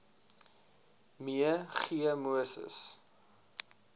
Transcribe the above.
me g moses